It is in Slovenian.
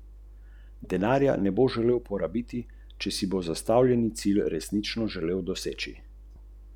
Ni problema.